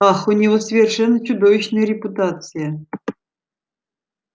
ах у него совершенно чудовищная репутация